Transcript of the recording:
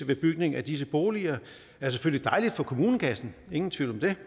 bygning af disse boliger er selvfølgelig dejlig for kommunekassen ingen tvivl om det